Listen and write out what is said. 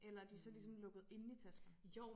Eller er de så ligesom lukket inde i taskerne?